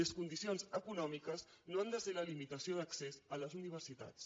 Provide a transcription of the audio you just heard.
les condicions econòmiques no han de ser la limitació d’accés a les universitats